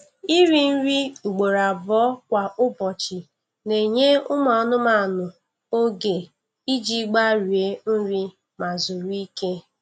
Iri nri ugboro abụọ kwa ụbọchị na-enye ụmụ anụmanụ oge iji gbarie nri ma zuru ike.